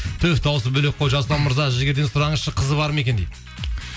түһ дауысы бөлек қой жасұлан мырза жігерден сұраңызшы қызы бар ма екен дейді